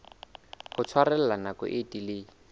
ho tshwarella nako e telele